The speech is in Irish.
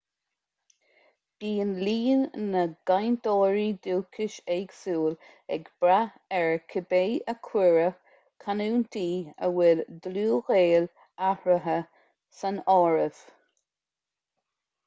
bíonn líon na gcainteoirí dúchais éagsúil ag brath ar cibé ar cuireadh canúintí a bhfuil dlúthghaol eatarthu san áireamh